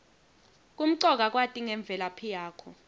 kumcoka kwati ngemvelaphi yakho